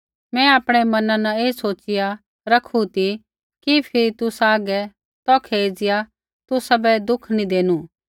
मैं आपणै मना न ऐ सोचिया रखु ती कि फिरी तुसा हागै तौखै एज़िया तुसाबै दुःख नी देनु